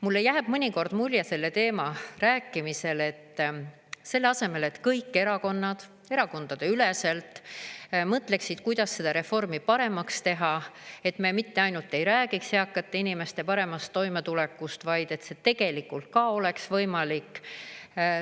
Mulle jääb mõnikord mulje selle teema rääkimisel, et selle asemel, et kõik erakonnad erakondadeüleselt mõtleksid, kuidas seda reformi paremaks teha, et me mitte ainult ei räägiks eakate inimeste paremast toimetulekust, vaid see tegelikult ka oleks võimalik.